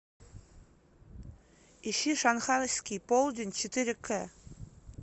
ищи шанхайский полдень четыре к